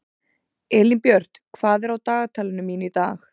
Elínbjört, hvað er á dagatalinu mínu í dag?